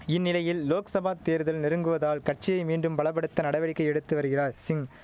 இந்நிலையில் லோக்சபா தேர்தல் நெருங்குவதால் கட்சியை மீண்டும் பல படுத்த நடவடிக்கை எடுத்து வருகிறாய் சிங்